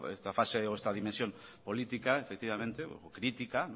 esta fase o esta dimensión política efectivamente crítica